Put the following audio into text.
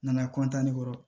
N nana kɔrɔ